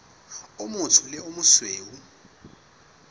o motsho le o mosweu